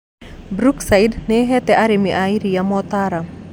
Brookside nĩĩhete arĩmi a iria mootaro